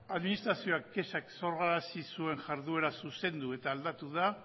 administrazioak kexak sorrarazi zuen jarrera zuzendu eta aldatu da